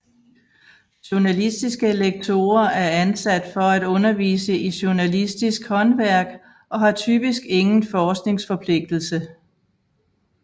Journalistiske lektorer er ansat for at undervise i journalistisk håndværk og har typisk ingen forskningsforpligtelse